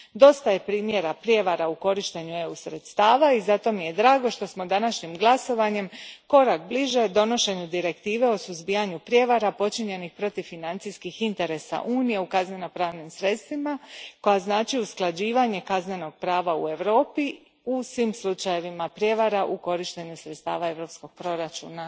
Dosta je primjera prijevara u korištenju sredstava EU a i zato mi je drago što smo današnjim glasovanjem korak bliže donošenju direktive o suzbijanju prijevara počinjenih protiv financijskih interesa Unije kaznenopravnim sredstvima koja znače usklađivanje kaznenog prava u Europi u svim slučajevima prijevara u korištenju sredstava Europskog proračuna.